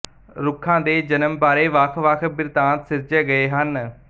ਰੁੱਖਾਂ ਦੇ ਜਨਮ ਬਾਰੇ ਵੱਖ ਵੱਖ ਬਿਰਤਾਂਤ ਸਿਰਜੇ ਗਏ ਹਨ